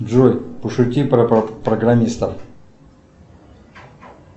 джой пошути про программистов